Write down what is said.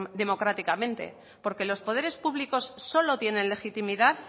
democráticamente porque los poderes públicos solo tienen legitimidad